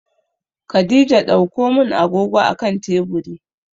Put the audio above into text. Khadijah ɗaukomin agogo a akan teburi